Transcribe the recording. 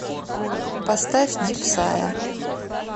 поставь дипсая